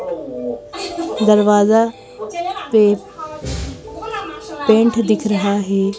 दरवाजा पे पेंट दिख रहा है।